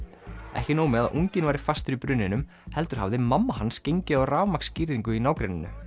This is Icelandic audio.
ekki nóg með að unginn væri fastur í brunninum heldur hafði mamma hans gengið á rafmagnsgirðingu í nágrenninu